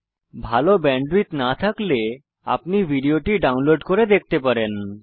যদি ভাল ব্যান্ডউইডথ না থাকে তাহলে আপনি ভিডিও টি ডাউনলোড করে দেখতে পারেন